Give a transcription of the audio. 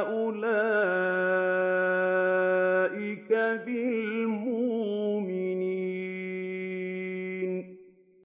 أُولَٰئِكَ بِالْمُؤْمِنِينَ